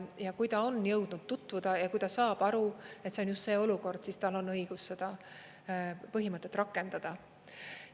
Ja kui ta on jõudnud tutvuda ja kui ta saab aru, et see on just see olukord, siis tal on õigus seda põhimõtet rakendada.